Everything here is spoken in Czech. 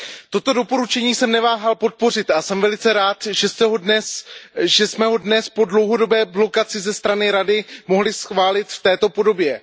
Toto doporučení jsem neváhal podpořit a jsem velice rád, že jsme ho dnes po dlouhodobé blokaci za strany Rady mohli schválit v této podobě.